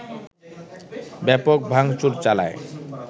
ব্যাপক ভাংচুর চালায়